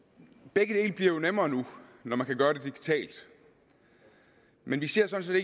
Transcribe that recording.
begge dele bliver jo nemmere nu når man kan gøre det digitalt men vi ser sådan